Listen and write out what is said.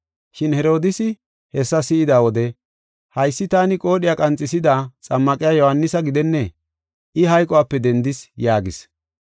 Shin Herodiisi hessa si7ida wode, “Haysi taani qoodhiya qanxisida Xammaqiya Yohaanisa gidennee? I hayqope dendis” yaagis.